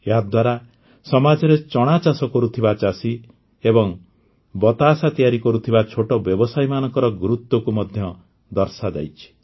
ଏହାଦ୍ୱାରା ସମାଜରେ ଚଣା ଚାଷ କରୁଥିବା ଚାଷୀ ଏବଂ ବତାସା ତିଆରି କରୁଥିବା ଛୋଟ ବ୍ୟବସାୟୀମାନଙ୍କ ଗୁରୁତ୍ୱକୁ ମଧ୍ୟ ଦର୍ଶାଯାଇଛି